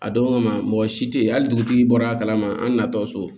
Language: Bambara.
A don kama mɔgɔ si tɛ ye hali dugutigi bɔra a kalama an na tɔ so